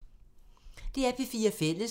DR P4 Fælles